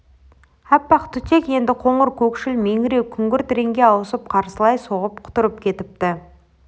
аппақ түтек енді қоңыр көкшіл меңіреу күңгірт реңге ауысып қарсылай соғып құтырып кетіпті